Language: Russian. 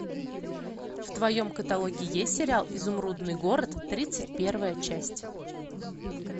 в твоем каталоге есть сериал изумрудный город тридцать первая часть